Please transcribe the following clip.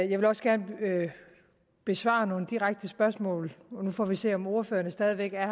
jeg vil også gerne besvare nogle direkte spørgsmål og nu får vi se om ordførerne stadig væk er